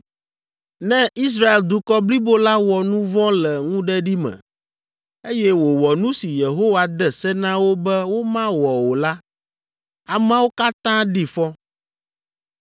“ ‘Ne Israel dukɔ blibo la wɔ nu vɔ̃ le ŋuɖeɖi me, eye wòwɔ nu si Yehowa de se na wo be womawɔ o la, ameawo katã ɖi fɔ.